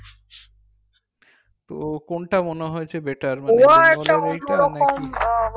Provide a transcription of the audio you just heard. তো কোনটা মনে হয়েছে better